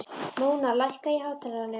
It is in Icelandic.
Móna, lækkaðu í hátalaranum.